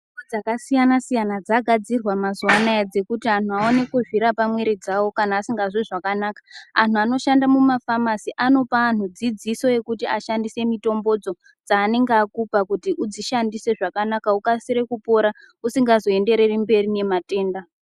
Mitombo dzakasiyana siyana dzagadzirwa mazuva ano dzekuti antu awane kuzvirapa muviri dzavo kana vasingazwi zvakanaka ano anoshanda mumafamasi anopa antu dzidziso yekuti ashandisa mitombo dzo dzaanenge akupa kuti udzishandise zvakanaka ukasire kupora usinga zoendereri mberi nematenda.